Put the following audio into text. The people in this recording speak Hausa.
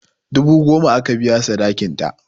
Dubu goma aka biya sadakin ta